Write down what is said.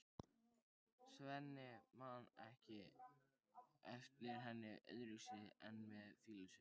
Svenni man ekki eftir henni öðruvísi en með fýlusvip.